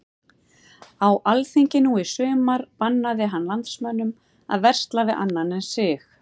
Á alþingi nú í sumar bannaði hann landsmönnum að versla við annan en sig.